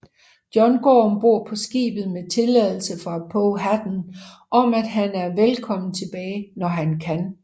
John går ombord på skibet med tilladelse fra Powhatan om at han er velkommen tilbage når han kan